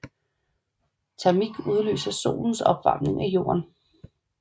Termik udløses af solens opvarmning af jorden